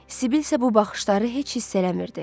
Sibil isə bu baxışları heç hiss eləmirdi.